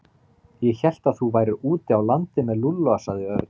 Ég hélt að þú værir úti á landi með Lúlla sagði Örn.